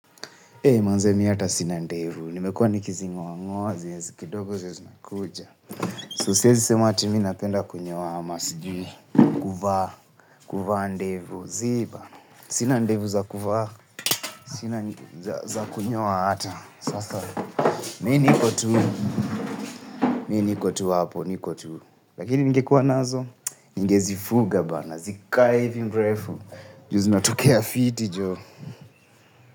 Hei manze mimi hata sina ndevu, nimekuwa nikizing'oa ng'oa hizo zenye ziko kidogo zinakuja. So siwezi sema ati mimi napenda kunyoa ama sijui kuvaa, kuvaa ndevu zii bana. Sina ndevu za kuvaa, sina za kunyoa hata, sasa. Mimi niko tu, mimi niko tu hapo, niko tu. Lakini ningekuwa nazo, ningezifuga bana, zikae hivi mrefu, juu zinatokea fiti joh.